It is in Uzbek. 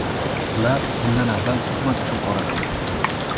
Ular bundan avval tuhmat uchun qoralangan.